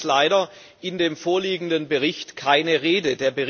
Davon ist leider in dem vorliegenden Bericht keine Rede.